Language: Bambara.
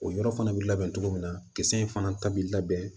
O yɔrɔ fana bi labɛn cogo min na kisɛ in fana ta bi labɛn